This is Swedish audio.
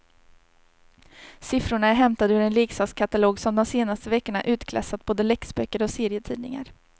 Siffrorna är hämtade ur en leksakskatalog som de senaste veckorna utklassat både läxböcker och serietidningar.